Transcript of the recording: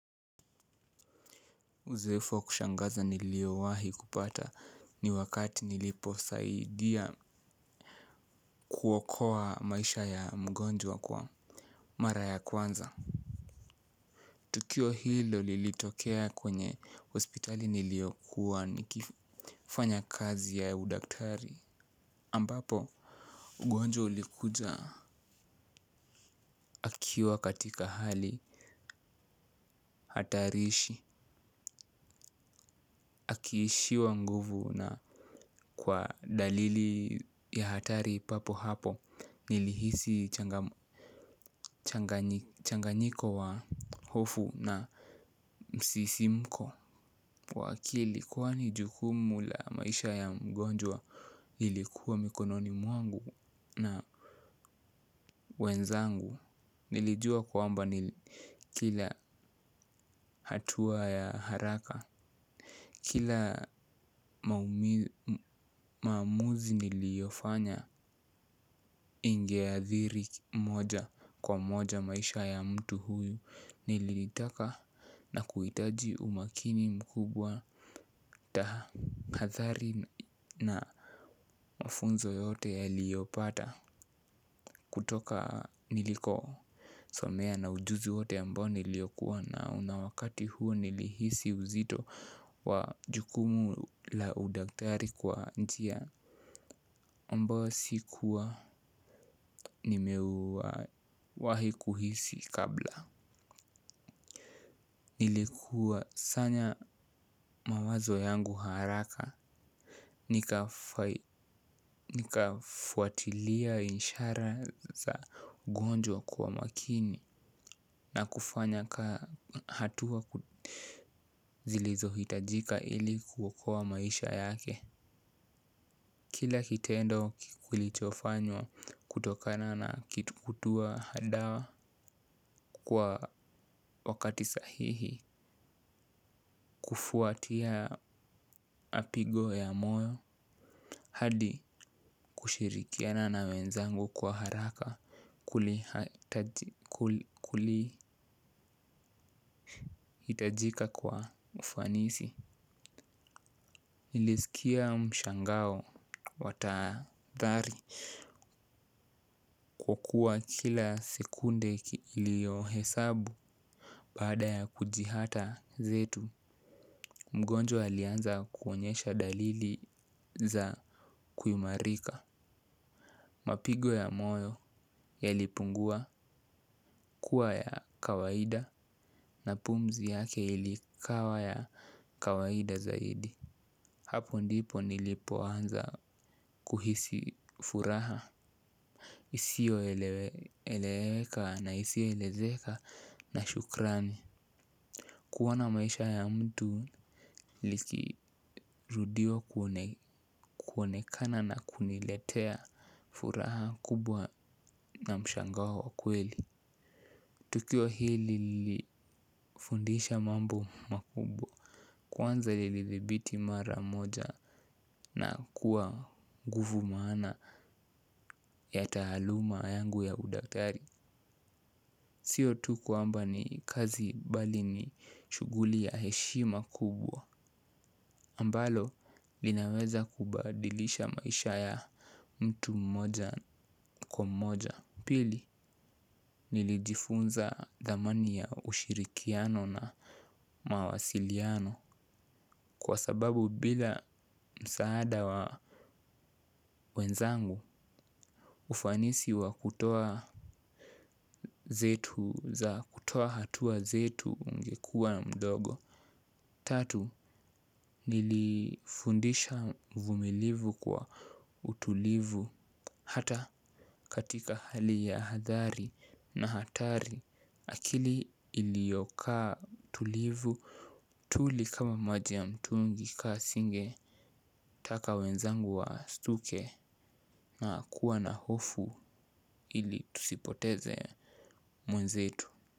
Uzoefu wa kushangaza niliowahi kupata, ni wakati nilipo saidia kuokoa maisha ya mgonjwa, kwa, mara ya kwanza. Tukio hilo, lilitokea kwenye hospitali niliokuwa nikifanya kazi ya udaktari ambapo, ugonjwa ulikuja akiwa katika hali hatarishi. Akiishiwa nguvu na kwa dalili ya hatari papo hapo nilihisi, changanyiko wa hofu na msisimko. Wa akili kwani jukumu la maisha ya mgonjwa, ilikuwa mikononi mwangu na wenzangu. Nilijua kuamba, kila hatua ya haraka, kila maamuzi niliofanya, inge athiri mmoja kwa moja maisha ya mtu huyu nili litaka na kuitaji umakini mkubwa taha hathari na mafunzo yoyote ya liyopata kutoka niliko somea na ujuzi wote ambao niliyokuwa nao na wakati huo nilihisi uzito wa jukumu la udaktari kwa njia ambayo sikuwa nimeu wahi kuhisi kabla. Nilikuwasanya mawazo yangu haraka, nikafuatilia inshara za ugonjwa kwa makini na kufanya ka, hatua zilizohitajika ili, kuokoa maisha yake. Kila kitendo kulichofanywa kutokana na kitu kutua hadawa kwa wakati sahihi, kufuatia apigo ya moyo, hadi kushirikiana na wenzangu kwa haraka. Kuli hitajika kwa ufanisi. Nilisikia mshangao watadhari kwa kua kila sekunde ilio hesabu baada ya kujihata, zetu. Mgonjwa alianza kuonyesha dalili za kuimarika. Mapigo ya moyo, yalipungua kuwa ya kawaida na pumzi yake ilikawa ya kawaida zaidi. Hapo ndipo nilipo anza kuhisi furaha. Isio eleweka na isio elezeka na shukrani. Kuona maisha ya mtu, likirudio kuonekana na kuniletea furaha kubwa na mshangao wa kweli. Tukio hili lili fundisha mambo makubwa. Kwanza ilidhibiti mara moja, na kuwa nguvu mwana ya taaluma yangu ya udaktari. Sio tu kuamba ni kazi, bali ni shughuli ya heshima kubwa ambalo, linaweza kubadilisha maisha ya, mtu mmoja kwa moja. Pili, nilijifunza, dhamani ya ushirikiano na mawasiliano, kwa sababu bila msaada wa wenzangu, ufanisi wa kutoa zetu za kutoa hatua zetu ungekua mdogo. Tatu, nilifundisha uvumilivu kwa utulivu hata katika hali ya hadhari na hatari. Akili ilio kaa tulivu, tuli kama maji ya mtungi kaa singe. Taka wenzangu wa stuke na kuwa na hofu, ili, tusipoteze, mwenzetu.